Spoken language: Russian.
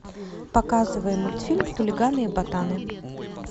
показывай мультфильм хулиганы и ботаны